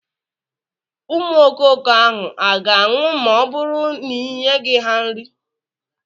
Ụmụ ọkụkọ ahụ a ga-anwụ ma ọ bụrụ n'ịnyeghị ha nri?